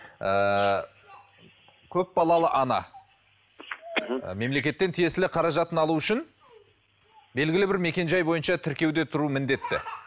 ыыы көпбалалы ана мхм мемлекеттен тиесілі қаражатын алу үшін белгілі бір мекен жай бойынша тіркеуде тұру міндетті